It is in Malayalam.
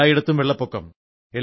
എല്ലായിടത്തും വെള്ളപ്പൊക്കം